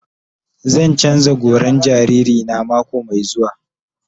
Zan canza goran jariri na mako mai zuwa.